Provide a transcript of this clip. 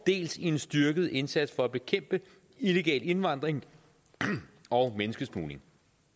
dels en styrket indsats for at bekæmpe illegal indvandring og menneskesmugling